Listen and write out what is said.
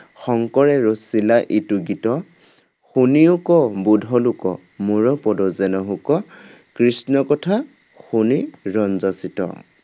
শংকৰে ৰচিলা ইটো গীত। শুনিয়োক বুধ লোক মোৰ পদ যেন হোক কৃষ্ণ কথা শুনি ৰঞ্জা চিত্ত